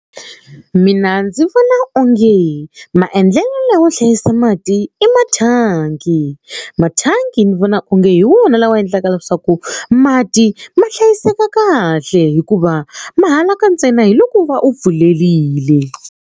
Mina ndzi vona onge maendlelo lawo hlayisa mati i mathangi mathangi ni vona onge hi wona lawa endlaka leswaku mati ma hlayiseka kahle hikuva ma halaka ntsena hi loko u va u pfulerile.